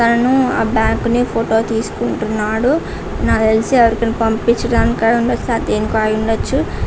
అతను బ్యాంకు ని ఫోటో తీసుకుంటూ ఉన్నాడు. నాకు తెలిసి ఎవరికో పంపించడానికి అయి ఉండొచ్చు.దేనికైనా అయ్యుండొచ్చు.